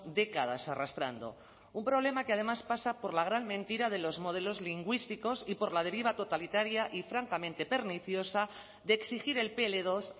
décadas arrastrando un problema que además pasa por la gran mentira de los modelos lingüísticos y por la deriva totalitaria y francamente perniciosa de exigir el pe ele dos